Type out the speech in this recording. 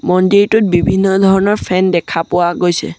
মন্দিৰটোত বিভিন্ন ধৰণৰ ফেন দেখা পোৱা গৈছে।